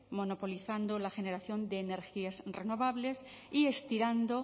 monopolizado la generación de energías renovables y estirando